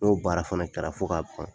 N'o baara fana kɛra fo ka ban,